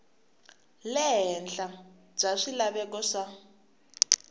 le henhla bya swilaveko swa